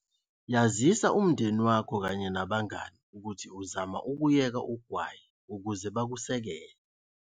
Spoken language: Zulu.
Yazisa umndeni wakho kanye nabangani ukuthi uzama ukuyeka ugwayi ukuze bakusekele.